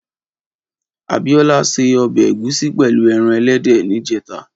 Abiola sé òbè égúsì pèlú èràn èlèdè nijètá